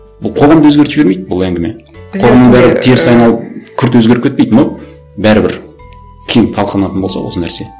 бұл қоғамды өзгертіп жібермейді бұл әңгіме қоғамның бәрі теріс айналып күрт өзгеріп кетпейді но бәрібір кең болса осы нәрсе